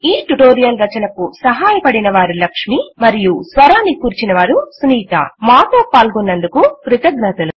ఈ ట్యుటోరియల్ రచనకు సహాయపడినవారు లక్ష్మి మరియు మాతో పాల్గొన్నందుకు కృతజ్ఞతలు